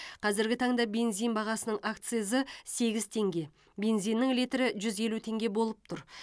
қазіргі таңда бензин бағасының акцизі сегіз теңге бензиннің литрі жүз елу теңге болып тұр